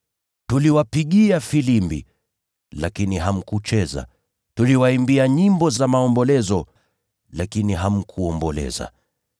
“ ‘Tuliwapigia filimbi, lakini hamkucheza; tuliwaimbia nyimbo za maombolezo, lakini hamkuomboleza.’